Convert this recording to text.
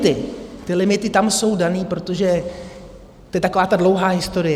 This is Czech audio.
Ty limity tam jsou dané, protože to je taková ta dlouhá historie.